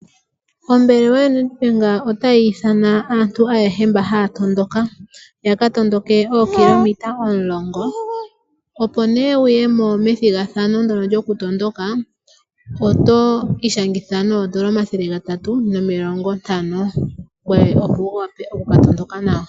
Ombaanga/ ombelewa yaNedbank otayi ithana aantu ayehe mba haya tondoka ya ka tondoke ookilometa omulongo, opo nee wuye mo methigathano ndono lyoku tondoka oto ishangitha noondola omathele gatatu nomilongo ntano ngoye opo wu wape oku ka tondoka nawa.